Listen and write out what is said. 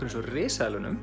eins og